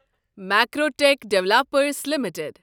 Macrotech developers limited